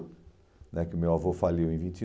né Porque o meu avô faliu em vinte e